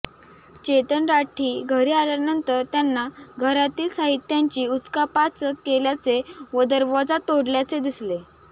चेतन राठी घरी आल्यानंतर त्यांना घरातील साहित्यांची उचकापाचक केल्याचे व दरवाजा तोडल्याचे दिसले